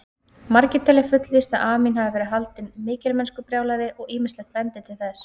Margir telja fullvíst að Amín hafi verið haldinn mikilmennskubrjálæði og ýmislegt bendir til þess.